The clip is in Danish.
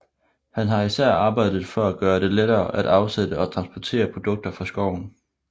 Han har især arbejdet for at gøre det lettere at afsætte og transportere produkter fra skoven